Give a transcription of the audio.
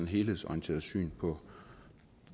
helhedsorienteret syn på